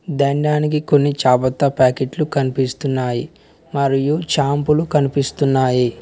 దండానికి కొన్ని చాపంత ప్యాకెట్లు కనిపిస్తున్నాయి మరియు షాంపూలు కనిపిస్తున్నాయి.